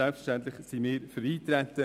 Selbstverständlich sind wir für Eintreten.